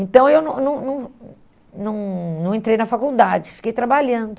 Então eu não não não não não entrei na faculdade, fiquei trabalhando.